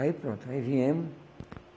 Aí pronto, aí viemos.